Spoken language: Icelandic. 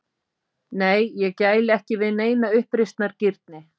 Nei, ég gæli ekki við neina uppreisnargirni.